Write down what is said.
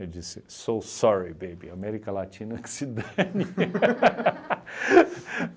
Eu disse, so sorry baby, América Latina, que se dane.